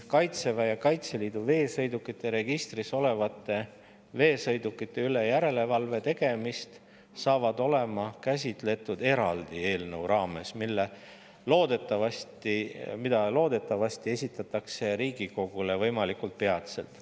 Kaitseväe ja Kaitseliidu veesõidukite registris olevate veesõidukite üle järelevalve tegemist käsitletakse edaspidi eraldi eelnõu raames, mis loodetavasti esitatakse Riigikogule võimalikult peatselt.